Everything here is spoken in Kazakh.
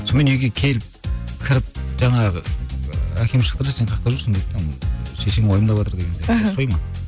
сонымен үйге келіп кіріп жаңағы ыыы әкем шықты сен қайяқта жүрсің деді де шешең уайымдаватыр деген сияқты ұрыспай ма